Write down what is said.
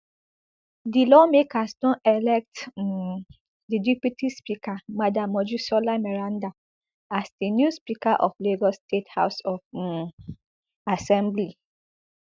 di lawmakers don elect um di deputy speaker madam mojisola meranda as di new speaker of lagos state house of um assembly